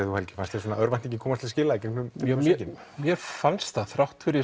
þú Helgi fannst þér örvæntingin komast til skila já mér fannst það þrátt fyrir